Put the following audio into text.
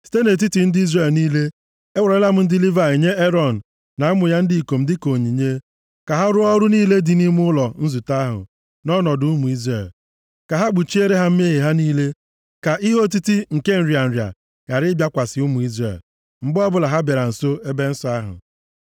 Site nʼetiti ndị Izrel niile, ewerela m ndị Livayị nye Erọn na ụmụ ya ndị ikom dịka onyinye, ka ha rụọ ọrụ niile dị nʼime ụlọ nzute ahụ nʼọnọdụ ụmụ Izrel. Ka ha kpuchiere ha mmehie ha niile ka ihe otiti nke nrịa nrịa ghara ịbịakwasị ụmụ Izrel, mgbe ọbụla ha bịara nso ebe nsọ ahụ.”